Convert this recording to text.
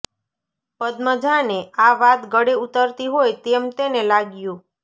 પદ્મજાને આ વાત ગળે ઊતરતી હોય તેમ તેને લાગ્યું